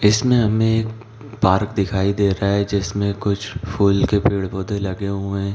इसमें हमे एक बारूद दिखाई दे रहा है जिसमे कुछ फूल के पेड़-पौधे लगे हुए है ।